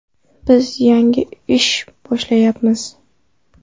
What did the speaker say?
Biz yangi ish boshlayapmiz.